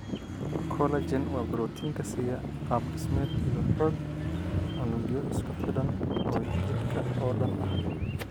Collagen waa borotiinka siiya qaab dhismeed iyo xoog unugyo isku xidhan oo jidhka oo dhan ah.